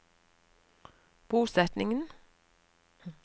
bosetningen